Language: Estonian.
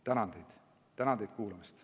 Tänan teid kuulamast!